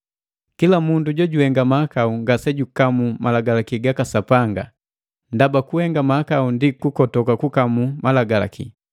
Kila mundu jojuhenga mahakau ngasejukamu malagalaki gaka Sapanga, ndaba kuhenga mahakau ndi kukotoka kukamu Malagalaki.